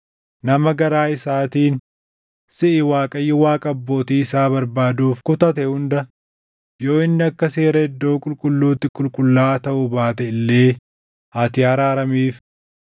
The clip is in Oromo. nama garaa isaatiin siʼi Waaqayyo Waaqa abbootii isaa barbaaduuf kutate hunda yoo inni akka seera iddoo qulqulluutti qulqullaaʼaa taʼuu baate illee ati araaramiif.”